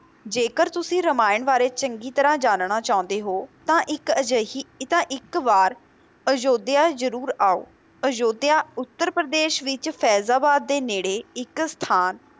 ਜੇਕਰ ਤੁਸੀ ਰਮਾਇਣ ਬਾਰੇ ਚੰਗ ਤਰਾਂ ਜਾਨਣਾ ਚਾਹੁੰਦੇ ਹੋ ਤਾਂ ਇੱਕ ਅਜਿਹੀ ਇੱਕ ਵਾਰ ਅਯੋਧਿਆ ਜਰੂਰ ਆਓ, ਅਯੋਧਿਆ ਉੱਤਰ ਪ੍ਰਦੇਸ਼ ਵਿੱਚ ਫੈਜ਼ਾਬਾਦ ਦੇ ਨੇੜੇ ਇੱਕ ਸਥਾਨ